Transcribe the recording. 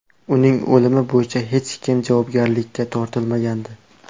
Uning o‘limi bo‘yicha hech kim javobgarlikka tortilmagandi.